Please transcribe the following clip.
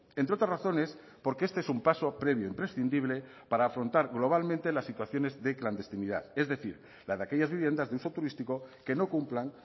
entre otras razones porque este es un paso previo imprescindible para afrontar globalmente las situaciones de clandestinidad es decir la de aquellas viviendas de uso turístico que no cumplan